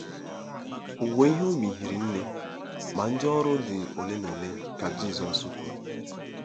“Owuwe ihe ubi hiri nne, ma ndị ọrụ dị ole na ole,” ka Jizọs kwuru.